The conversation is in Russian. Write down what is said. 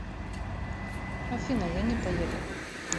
афина я не поеду